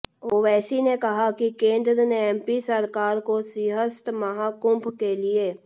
ओवैसी ने कहा कि केंद्र ने एमपी सरकार को सिंहस्थ महाकुम्भ के लिए